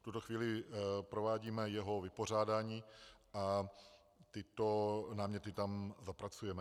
V tuto chvíli provádíme jeho vypořádání a tyto náměty tam zapracujeme.